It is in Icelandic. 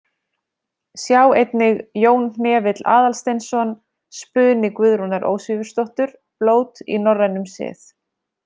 Sjá einnig Jón Hnefill Aðalsteinsson, Spuni Guðrúnar Ósvífursdóttur, Blót í norrænum sið.